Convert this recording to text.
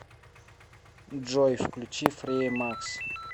джой включи фреемакс